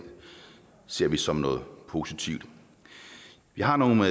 ser vi som noget positivt jeg har nogle